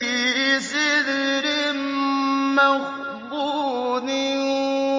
فِي سِدْرٍ مَّخْضُودٍ